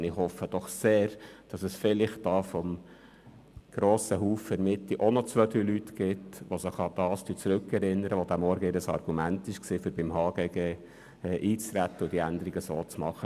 Ich hoffe sehr, es gebe bei der SVP doch noch einige, die sich daran zurückerinnern, dass es sich beim Eintreten auf das HGG heute Morgen genau um dieses Argument gehandelt hat.